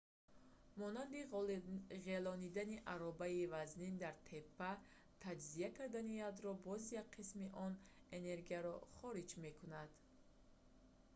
монанди ғелондани аробаи вазнин дар теппа. таҷзия кардани ядро ​​боз як қисми он энергияро хориҷ мекунад